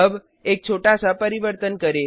अब एक छोटा सा परिवर्तन करें